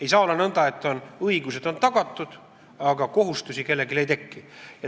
Ei saa olla nõnda, et õigused on tagatud, aga kohustusi kellelgi ei teki.